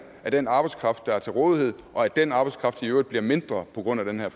af den arbejdskraft der er til rådighed og at den arbejdskraft i øvrigt bliver mindre på grund af den her